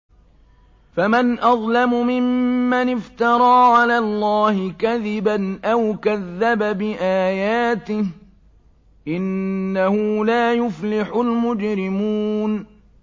فَمَنْ أَظْلَمُ مِمَّنِ افْتَرَىٰ عَلَى اللَّهِ كَذِبًا أَوْ كَذَّبَ بِآيَاتِهِ ۚ إِنَّهُ لَا يُفْلِحُ الْمُجْرِمُونَ